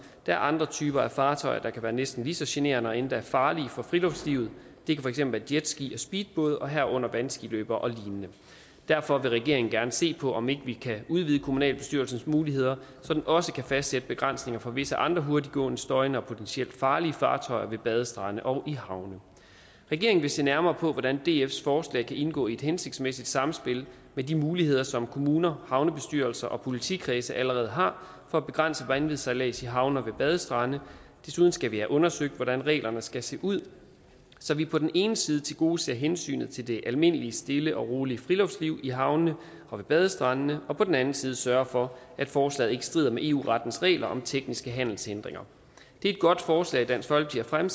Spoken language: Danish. er andre typer af fartøjer der kan være næsten lige så generende og endda farlige for friluftslivet det kan for eksempel være jetski og speedbåde herunder vandskiløbere og lignende derfor vil regeringen gerne se på om vi ikke kan udvide kommunalbestyrelsens muligheder så den også kan fastsætte begrænsninger for visse andre hurtiggående støjende og potentielt farlige fartøjer ved badestrande og i havne regeringen vil se nærmere på hvordan dfs forslag kan indgå i et hensigtsmæssigt samspil med de muligheder som kommuner havnebestyrelser og politikredse allerede har for at begrænse vanvidssejlads i havne og ved badestrande desuden skal vi have undersøgt hvordan reglerne skal se ud så vi på den ene side tilgodeser hensynet til det almindelige stille og rolige friluftsliv i havnene og ved badestrandene og på den anden side sørger for at forslaget ikke strider mod eu rettens regler om tekniske handelshindringer det er et godt forslag dansk folkeparti